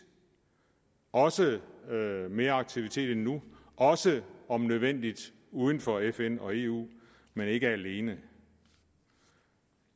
også mere aktivitet end nu også om nødvendigt uden for fn og eu men ikke alene